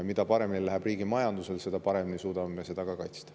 Mida paremini läheb riigi majandusel, seda paremini suudame seda ka kaitsta.